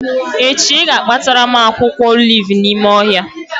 Echi ị ga-akpatara m akwụkwọ olivu n'ime ohịa